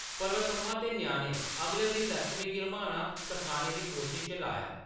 पर्वतम्मा ने ते ञ्याणें अगला दिन लक्ष्मी गी रम्हाना सखाने दी कोशश च लाया ।